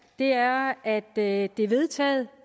er at at det er vedtaget